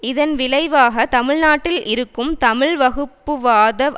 இதன் விளைவாக தமிழ்நாட்டில் இருக்கும் தமிழ் வகுப்புவாத